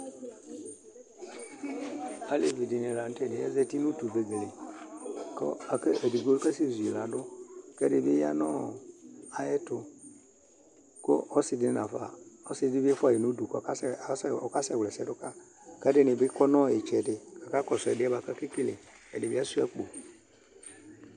Aleʋɩ ɛɗɩnɩla nu tɛ azatɩnu ʋegele aʋa ƙu eɗɩgboƙasɛ zuƴɩlaɗu ƙu ɛɗɩɓɩ ɔƴanu aƴɛtu ɔsɩɗɩ ɔʋuaƴɩnu uɗu ƙu ɔƙasɛwla ɛsɛ ɗuƙaƴɩ alu ɛɗɩnɩɓɩ aƙɔnu ɩtsɛɗɩ ƙu aƙaƙɔsu ɛɗɩƴɛɓuaƙu aƙekele ɛɗɩbɩ achua aƙpo